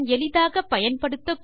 எளிதாக பயன்படுத்தக்கூடிய